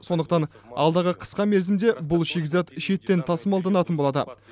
сондықтан алдағы қысқа мерзімде бұл шикізат шеттен тасымалданатын болады